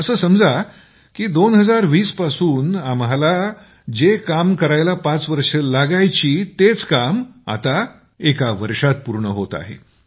असे समजा की 2020 पासून आम्हाला जे काम करायला पाच वर्ष लागायची तेच काम आता एका वर्षात पूर्ण होत आहे